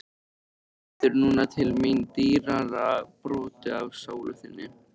Þú veitir núna til mín dýrara broti af sálu þinni.